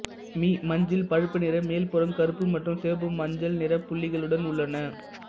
me மஞ்சள் பழுப்பு நிற மேல்புறம் கருப்பு மற்றும் சிவப்பு மஞ்சள் நிறப் புள்ளிகளுடன் உள்ளன